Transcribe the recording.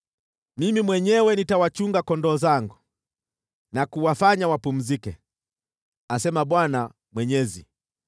Mimi mwenyewe nitawachunga kondoo zangu na kuwafanya wapumzike, asema Bwana Mwenyezi.